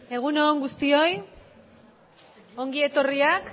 egun on guztioi ongi etorriak